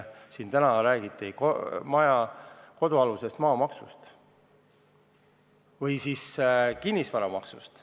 Siin räägiti ka kodualuse maa maksust ja kinnisvaramaksust.